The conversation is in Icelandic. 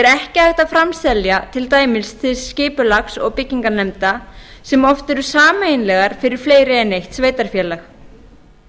ekki hægt að framselja til dæmis til skipulags og byggingarnefnda sem oft eru sameiginlegar fyrir fleiri en eitt